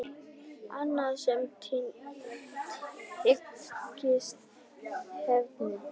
Annað sem tengist efninu